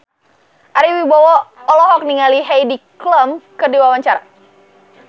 Ari Wibowo olohok ningali Heidi Klum keur diwawancara